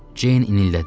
Ceyn inildədi.